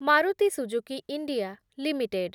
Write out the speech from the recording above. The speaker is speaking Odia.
Maruti Suzuki India limited